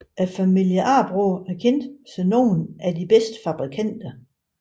Familien Arboe er kendt som nogle af de bedste fabrikanter